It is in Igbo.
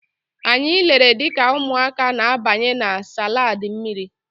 Anyị lere dịka ụmụaka na-abanye na slaidi mmiri.